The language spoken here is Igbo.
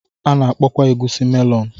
A na-akpọkwa egusi melonu.